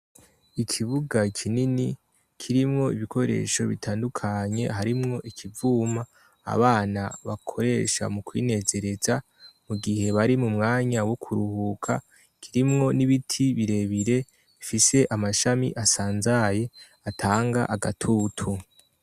Ikibuga kinini kirimwo ibikoresho bitandukanye harimwo ikivuma abana bakoresha mu kwinezereza mu gihe bari mu mwanya wo kuruhuka, kirimwo n'ibiti birebire bifise amashami asanzaye atanga agatutu.